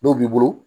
Dɔw b'i bolo